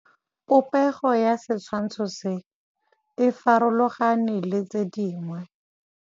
Popêgo ya setshwantshô se, e farologane le tse dingwe.